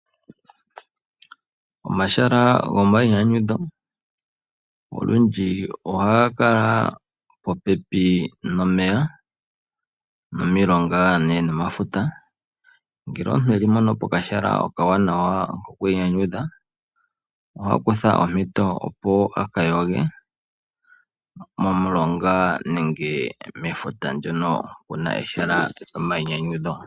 Omahala gomainyanyudho olundji ohaga kala popepi nomeya, nomilonga ndele nomafuta, ngele omuntu eli mpono pokahala ko ku inyanyudha oha kutha ompito opo a ka yoge, momulonga nenge mefuta ndono puna ehala lyomainyanyudho.